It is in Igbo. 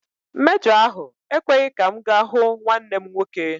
Mejọ ahụ ekweghị ka m ga hụ nwanne m nwoke.